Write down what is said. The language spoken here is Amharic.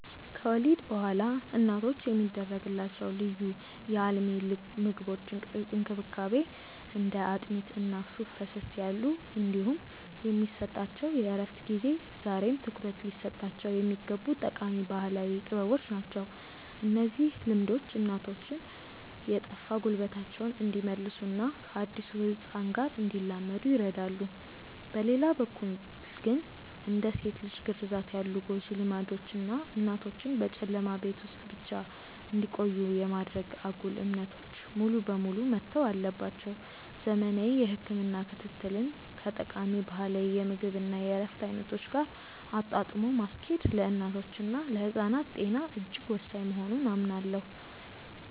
ከወሊድ በኋላ እናቶች የሚደረግላቸው ልዩ የአልሚ ምግቦች እንክብካቤ (እንደ አጥሚት እና ሱፍ ፈሰስ ያሉ) እንዲሁም የሚሰጣቸው የእረፍት ጊዜ ዛሬም ትኩረት ሊሰጣቸው የሚገቡ ጠቃሚ ባህላዊ ጥበቦች ናቸው። እነዚህ ልምዶች እናቶች የጠፋ ጉልበታቸውን እንዲመልሱና ከአዲሱ ህፃን ጋር እንዲላመዱ ይረዳሉ። በሌላ በኩል ግን፣ እንደ ሴት ልጅ ግርዛት ያሉ ጎጂ ልማዶች እና እናቶችን በጨለማ ቤት ውስጥ ብቻ እንዲቆዩ የማድረግ አጉል እምነቶች ሙሉ በሙሉ መተው አለባቸው። ዘመናዊ የህክምና ክትትልን ከጠቃሚ ባህላዊ የምግብ እና የእረፍት አይነቶች ጋር አጣጥሞ ማስኬድ ለእናቶችና ለህፃናት ጤና እጅግ ወሳኝ መሆኑን አምናለሁ።